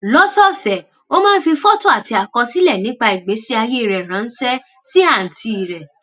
lọ́sọ̀ọ̀sẹ̀ ó máa ń fi fọ́tò àti àkọsílẹ̀ nípa ìgbésí ayé rẹ̀ ránṣẹ́ sí àǹtí rẹ̀